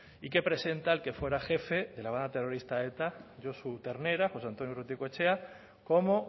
y que presenta al que fuera jefe la banda terrorista eta josu ternera jose antonio urrutikoetxea como